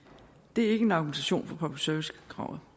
det er ikke en argumentation for public service kravet